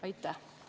Aitäh!